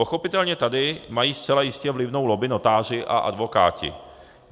Pochopitelně tady mají zcela jistě vlivnou lobby notáři a advokáti.